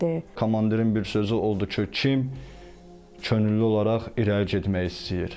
Komandirin bir sözü oldu ki, kim könüllü olaraq irəli getmək istəyir?